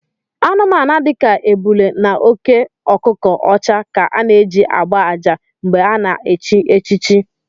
Anụmanụ dika ébulé na óké ọkụkọ ọcha ka a na-eji ágbá àjà mgbè a na-echi echichi